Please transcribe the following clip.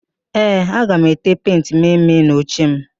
Ee, aga m ete pentị mme mme n'ochem